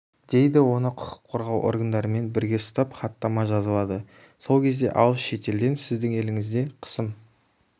дейді оны құқық қорғау органдарымен бірге ұстап хаттама жазылады сол кезде алыс шетелден сіздің еліңізде қысым